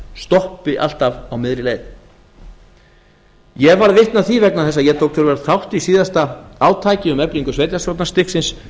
stoppi alltaf á miðri leið ég var vitni að því vegna þess að ég tók töluverðan þátt í síðasta átaki um eflingu sveitarstjórnarstigsins